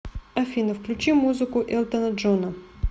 афина включи музыку элтона джона